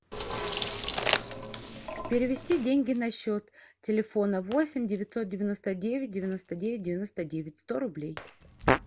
перевести деньги на счет телефона восемь девятьсот девяносто девять девяносто девять девяносто девять сто рублей